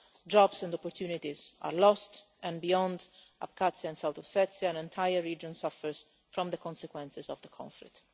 jobs and opportunities are lost, and beyond Abkhazia and South Ossetia, an entire region suffers from the consequences of the conflict.